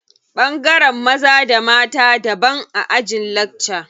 Ɓangaren maza da mata daban a ajin lakca.